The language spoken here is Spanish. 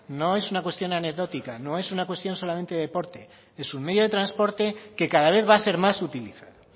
no es una cuestión anecdótica no es una cuestión solamente de deporte es un medio de transporte que cada vez va a ser más utilizado